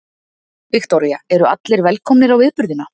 Viktoría: Eru allir velkomnir á viðburðina?